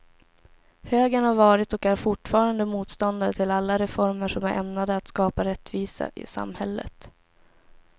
Högern har varit och är fortfarande motståndare till alla reformer som är ämnade att skapa rättvisa i samhället.